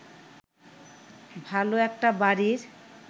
ভালো একটা বাড়ির